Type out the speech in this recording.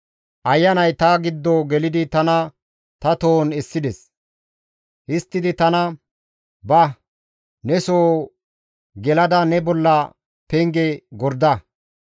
Ayanay ta giddo gelidi tana ta tohon essides; histtidi tana, «Ba; ne soho gelada ne bolla penge gorda.